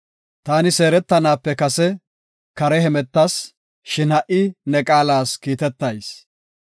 Taani seeretanaape kase kare hemetas; shin ha77i ne qaalas kiitetayis.